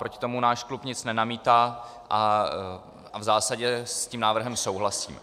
Proti tomu náš klub nic nenamítá a v zásadě s tím návrhem souhlasí.